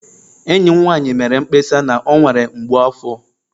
Enyi m nwanyị mere mkpesa na ọ nwere mgbu afọ